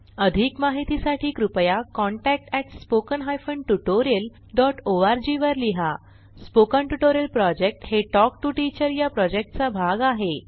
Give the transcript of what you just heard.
अधिक माहितीसाठी कृपया contact at spoken hyphen tutorial dot ORG वर लिहा स्पोकन ट्युटोरियल प्रॉजेक्ट हे टॉक टू टीचर या प्रॉजेक्टचा भाग आहे